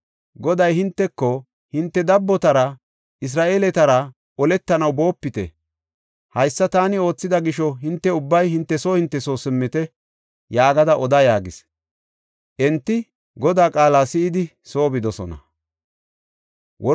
Goday hinteko, ‘Hinte dabbotara, Isra7eeletara oletanaw boopite. Haysa taani oothida gisho hinte ubbay hinte soo hinte soo simmite’ yaagada oda” yaagis. Enti Godaa qaala si7idi soo bidosona.